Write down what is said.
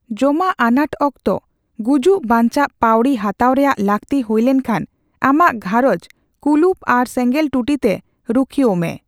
ᱡᱚᱢᱟᱜ ᱟᱱᱟᱴ ᱚᱠᱛᱚ ᱜᱩᱡᱩᱜᱽᱼᱵᱟᱸᱧᱪᱟᱜ ᱯᱟᱹᱣᱲᱤ ᱦᱟᱛᱟᱣ ᱨᱮᱭᱟᱜ ᱞᱟᱹᱠᱛᱤ ᱦᱩᱭ ᱞᱮᱱᱠᱷᱟᱱ ᱟᱢᱟᱜ ᱜᱷᱟᱸᱨᱚᱡᱽ ᱠᱩᱞᱩᱯ ᱟᱨ ᱥᱮᱸᱜᱮᱞ ᱴᱩᱴᱤ ᱛᱮ ᱨᱩᱠᱷᱤᱭᱟᱹᱭᱼᱢᱮ ᱾